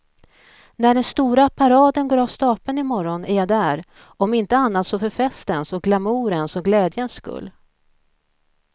När den stora paraden går av stapeln i morgon är jag där, om inte annat så för festens och glamourens och glädjens skull.